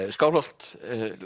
Skálholt